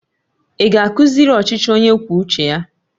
Ị ga-akuziri ọchịchị onye kwuo uche ya